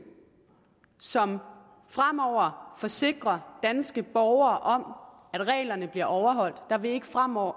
som fremover forsikrer danske borgere at reglerne bliver overholdt der vil ikke fremover